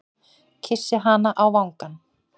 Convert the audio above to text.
Kyssi hana á vangann.